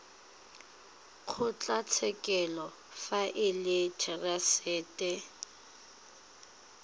kgotlatshekelo fa e le therasete